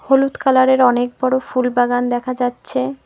হলুদ কালারের অনেক বড় ফুলবাগান দেখা যাচ্ছে।